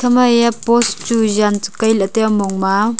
ekha ma post chu jan kai ley tai ah mong ma.